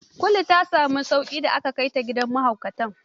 Kulu ta sami sauƙi da aka kai ta gidan mahaukatan?